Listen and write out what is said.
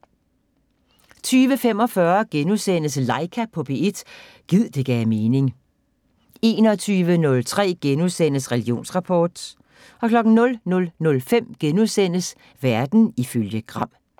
20:45: Laika på P1 – gid det gav mening * 21:03: Religionsrapport * 00:05: Verden ifølge Gram *